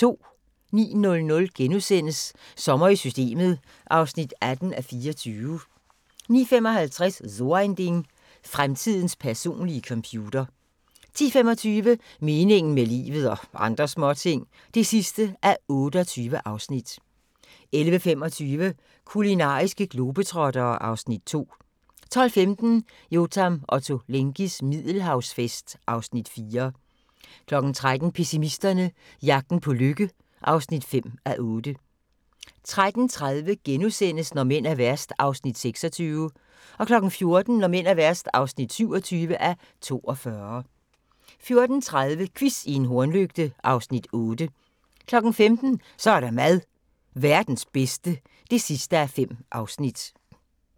09:00: Sommer i Systemet (18:24)* 09:55: So ein Ding: Fremtidens personlige computer 10:25: Meningen med livet – og andre småting (28:28) 11:25: Kulinariske globetrottere (Afs. 2) 12:15: Yotam Ottolenghis Middelhavsfest (Afs. 4) 13:00: Pessimisterne - jagten på lykke (5:8) 13:30: Når mænd er værst (26:42)* 14:00: Når mænd er værst (27:42) 14:30: Quiz i en hornlygte (Afs. 8) 15:00: Så er der mad - Verdens bedste (5:5)